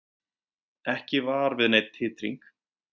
Ekki var við neinn titring